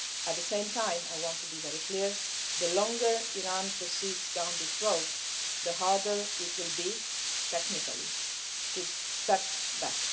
At the same time, I want to be very clear the longer Iran proceeds down this road, the harder it will be, technically, to step back.